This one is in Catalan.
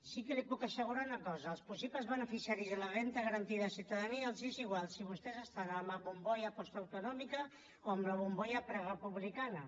sí que li puc assegurar una cosa als possibles beneficiaris de la renda garantida de ciutadania els és igual si vostès estan en la bombolla postautonòmica o en la bombolla prerepublicana